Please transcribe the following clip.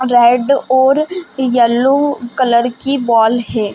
Red और yellow colour की ball है।